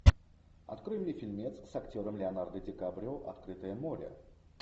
открой мне фильмец с актером леонардо ди каприо открытое море